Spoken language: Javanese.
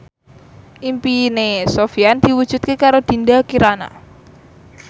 impine Sofyan diwujudke karo Dinda Kirana